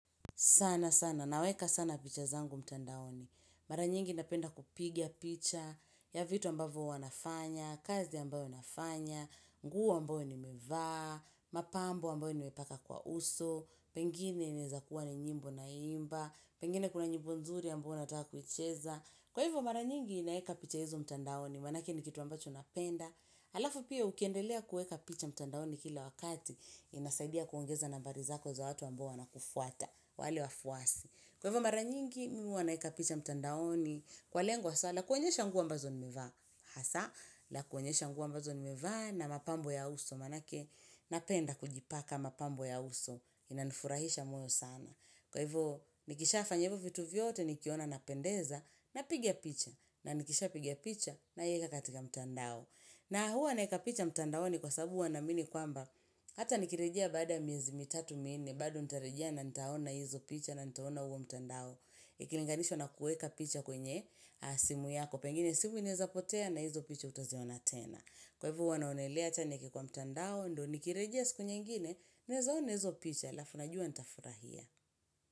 Saana sana, naweka sana picha zangu mtandaoni. Mara nyingi napenda kupiga picha, ya vitu ambavo hu wanafanya, kazi ambayo wanafanya, nguwa ambayo ni mevaa, mapambo ambayo nimepaka kwa uso, pengine inaezakuwa ni nyimbo na imba, pengine kuna nyimbo nzuri ambayo nataka kuicheza. Kwa hivyo mara nyingi naeka picha hizo mtandaoni, manake ni kitu ambacho napenda. Alafu pia ukiendelea kuweka picha mtandaoni kila wakati, inasaidia kuongeza nambariza ko za watu ambao wana kufuata, wale wafuasi. Kwa hivyo mara nyingi mi huwa naeka picha mtandaoni, kwa lengo hasa, la kuoenyesha nguo ambazo nimevaa. Hasa, la kuoenyesha nguo ambazo nimevaa na mapambo ya uso, manake napenda kujipaka mapambo ya uso, inanifurahisha moyo sana. Kwa hiv nikisha fanya hivo vitu vyote nikiona na pendeza na piga picha na nikisha piga picha na ieka katika mtandao. Na huwa naeka picha mtandao ni kwa sababu huwanaaminikwamba hata nikirejea baada miezimi tatu minne bado nitarijea na nitaona hizo picha na nitaona huo mtandao. Ikilinganishwa na kueka picha kwenye simu yako pengine simu inaeza potea na hizo picha hutaziona tena. Kwa hivo huwanaonelea achanieke kwa mtandao ndo nikirejia siku nyingine naezaona hizo picha alafuna jua nitafura hia.